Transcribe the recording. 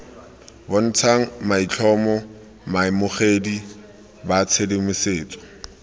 bontshang maitlhomo baamogedi ba tshedimosetso